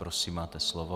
Prosím, máte slovo.